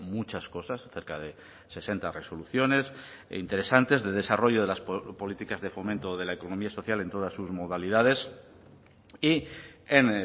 muchas cosas cerca de sesenta resoluciones e interesantes de desarrollo de las políticas de fomento de la economía social en todas sus modalidades y en